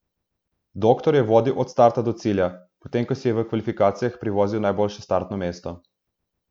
Doktor je vodil od starta do cilja, potem ko si je v kvalifikacijah privozil najboljše startno mesto.